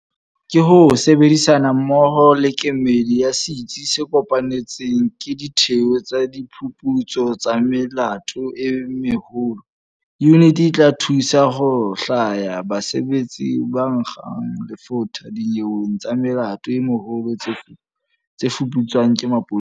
Ka ho sebedisana mmoho le kemedi ya Setsi se Kopanetsweng ke Ditheo tsa Diphuputso tsa Melato e Meholo, yuniti e tla thusa ho hlwaya basebetsi ba nkgang lefotha dinyeweng tsa melato e meholo tse fuputswang ke maponesa.